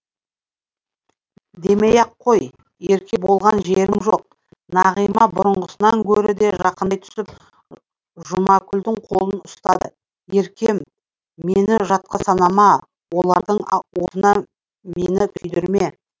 демей ақ қой ерке болған жерім жоқ нағима бұрынғысынан гөрі де жақындай түсіп жұмакүлдің қолын ұстады еркем мені жатқа санама олардың отына мені күйдірме